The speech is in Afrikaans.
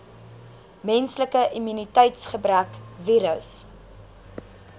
menslike immuniteitsgebrekvirus